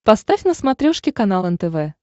поставь на смотрешке канал нтв